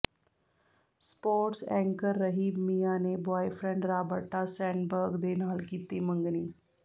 sports anchor ਰਹੀ Mia ਨੇ boyfriend Roberta Sandberg ਦੇ ਨਾਲ ਕੀਤੀ ਮੰਗਣੀ